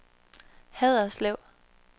Haderslev